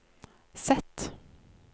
Z